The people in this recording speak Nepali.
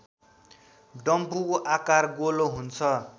डम्फुको आकार गोलो हुन्छ